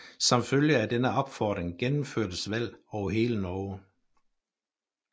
Som følge af denne opfordring gennemførtes valg over hele Norge